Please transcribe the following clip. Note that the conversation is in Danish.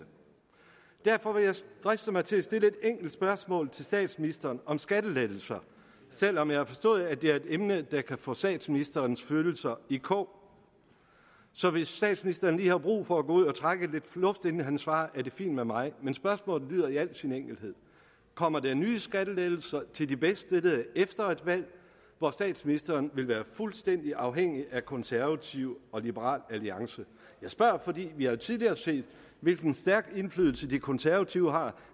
derfor vil jeg driste mig til at stille et enkelt spørgsmål til statsministeren om skattelettelser selv om jeg forstået at det er et emne der kan få statsministerens følelser i kog så hvis statsministeren lige har brug for at gå ud og trække lidt luft inden han svarer er det fint med mig men spørgsmålet lyder i al sin enkelhed kommer der nye skattelettelser til de bedst stillede efter et valg hvor statsministeren vil være fuldstændig afhængig af konservative og liberal alliance jeg spørger fordi vi jo tidligere har set hvilken stærk indflydelse de konservative har